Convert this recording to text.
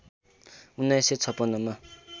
१९५६ मा